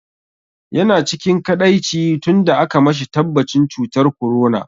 Yana cikin kaɗaici tun da aka mashi tabbatacin cutar corona.